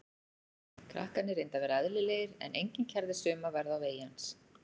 Krakkarnir reyndu að vera eðlilegir en enginn kærði sig um að verða á vegi hans.